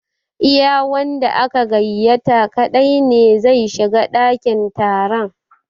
Iya wanda aka gaiyata kaɗai ne zai shiga ɗakin taron